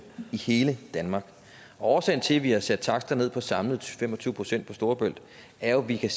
i hele danmark årsagen til at vi har sat takster ned på samlet fem og tyve procent på storebælt er jo at vi kan